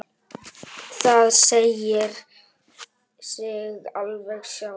Það segir sig alveg sjálft.